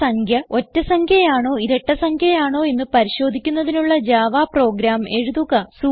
ഒരു സംഖ്യ ഒറ്റ സംഖ്യ ആണോ ഇരട്ട സംഖ്യ ആണോ എന്ന് പരിശോധിക്കുന്നതിനുള്ള ജാവ പ്രോഗ്രാം എഴുതുക